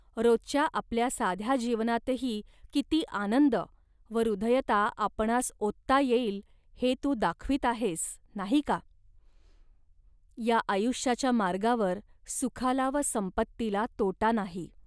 रोजच्या आपल्या साध्या जीवनातही किती आनंद व हृदयता आपणांस ओतता येईल, हे तू दाखवीत आहेस, नाही का. या आयुष्याच्या मार्गावर सुखाला व संपत्तीला तोटा नाही